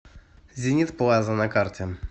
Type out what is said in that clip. зенит плаза на карте